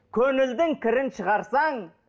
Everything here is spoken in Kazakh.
көңілдің кірін шығарсаң